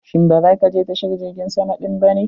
Shin ba za ka je tashar jirgin sama din ba ne?